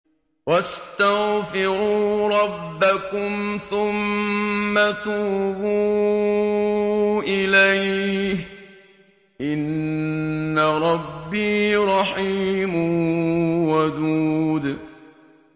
وَاسْتَغْفِرُوا رَبَّكُمْ ثُمَّ تُوبُوا إِلَيْهِ ۚ إِنَّ رَبِّي رَحِيمٌ وَدُودٌ